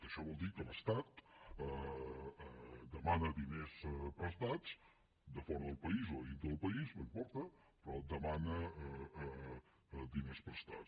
això vol dir que l’estat demana diners prestats de fora del país o de dintre del país no importa però demana diners prestats